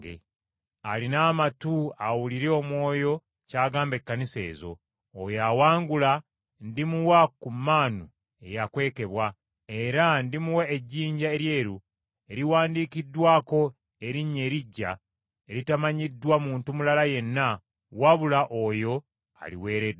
Alina amatu, awulire Omwoyo ky’agamba Ekkanisa ezo. Oyo awangula ndimuwa ku maanu eyakwekebwa. Era ndimuwa ejjinja eryeru eriwandiikiddwako erinnya eriggya eritamanyiddwa muntu mulala yenna wabula oyo aliweereddwa.”